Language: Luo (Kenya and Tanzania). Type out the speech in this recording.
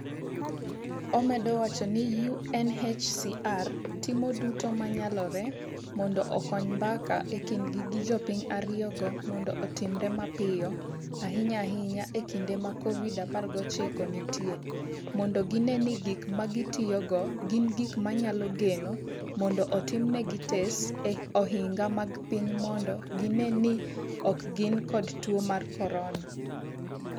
Omedo wacho ni UNHCR timo duto ma nyalore mondo okony mbaka e kindgi gi jopiny ariyogo mondo otimre mapiyo, ahinya ahinya e kinde ma COVID-19 nitie, mondo gine ni gik ma gitiyogo gin gik ma nyalo geno, mondo otimnegi tes e ohinga mag piny mondo gine ni ok gin kod tuo mar corona.